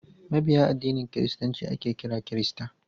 Mabiya addinin kiristanci ake kira kirista.